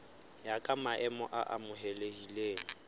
ya ka maemo a amohelehileng